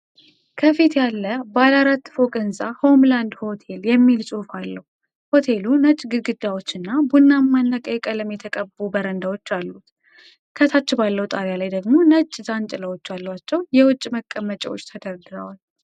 ከፊት ያለ ባለ አራት ፎቅ ህንጻ 'ሆምላንድ ሆቴል' የሚል ጽሑፍ አለው። ሆቴሉ ነጭ ግድግዳዎች እና ቡናማና ቀይ ቀለም የተቀቡ በረንዳዎች አሉት። ከታች ባለው ጣሪያ ላይ ደግሞ ነጭ ዣንጥላዎች ያሏቸው የውጪ መቀመጫዎች ተደርድረዋል።